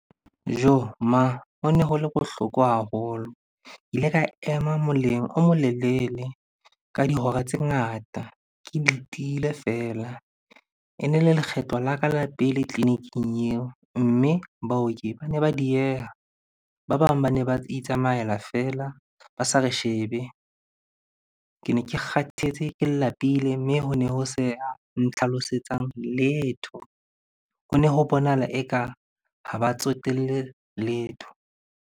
Joh! Mang? Ho ne ho le bohloko haholo. Ke ile ka ema moleng o mo lelele ka dihora tse ngata ke letile feela. E ne le lekgetlo la ka la pele tleliniking eo, mme baoki bane ba dieha. Ba bang bane ba itsamaela feela ba sa re shebe. Ke ne ke kgathetse, ke lapile mme ho ne ho se a ntlhalosetsang letho. Ho ne ho bonahala eka ha ba tsotelle letho.